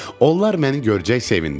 Onlar məni görəcək sevindilər.